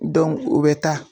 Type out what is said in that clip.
u bɛ taa